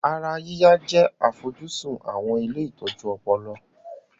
Ara yíyá jẹ́ àfojúsùn àwọn ilé ìtọ́jú ọpọlọ